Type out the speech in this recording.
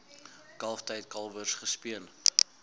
kalftyd kalwers gespeen